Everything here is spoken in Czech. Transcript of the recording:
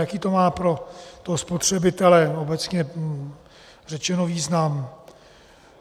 Jaký to má pro toho spotřebitele, obecně řečeno, význam?